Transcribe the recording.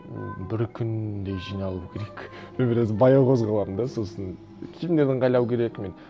ммм бір күндей жиналу керек мен біраз баяу қозғаламын да сосын киімдерді ыңғайлау керек мен